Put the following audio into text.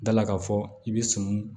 Dala ka fɔ i be son